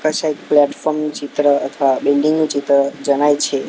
કસેક platform નુ ચિત્ર અથવા બિલ્ડિંગ નુ ચિત્ર જણાય છે.